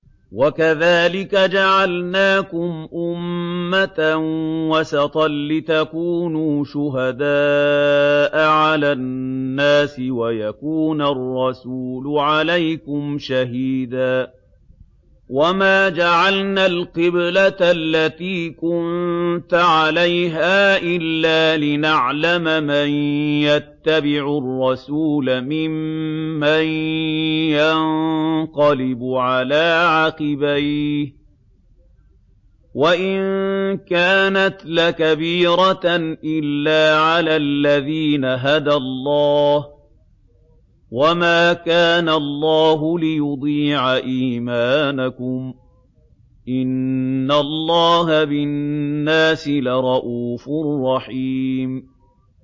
وَكَذَٰلِكَ جَعَلْنَاكُمْ أُمَّةً وَسَطًا لِّتَكُونُوا شُهَدَاءَ عَلَى النَّاسِ وَيَكُونَ الرَّسُولُ عَلَيْكُمْ شَهِيدًا ۗ وَمَا جَعَلْنَا الْقِبْلَةَ الَّتِي كُنتَ عَلَيْهَا إِلَّا لِنَعْلَمَ مَن يَتَّبِعُ الرَّسُولَ مِمَّن يَنقَلِبُ عَلَىٰ عَقِبَيْهِ ۚ وَإِن كَانَتْ لَكَبِيرَةً إِلَّا عَلَى الَّذِينَ هَدَى اللَّهُ ۗ وَمَا كَانَ اللَّهُ لِيُضِيعَ إِيمَانَكُمْ ۚ إِنَّ اللَّهَ بِالنَّاسِ لَرَءُوفٌ رَّحِيمٌ